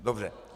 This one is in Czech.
Dobře.